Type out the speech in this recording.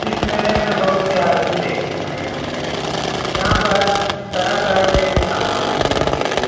इस मेले में बहुत से आदमी देखने आये होंगे यहाँ पर तरह-तरह के सामान भी होंगे।